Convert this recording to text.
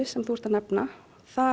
sem þú ert að nefna